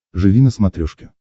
живи на смотрешке